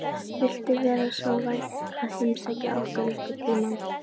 Viltu vera svo vænn að heimsækja okkur einhvern tímann?